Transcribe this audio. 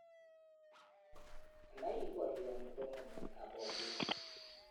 Ana ii boryoni ko ng'emetab boryet?